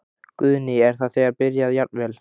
Guðný: Er það þegar byrjað jafnvel?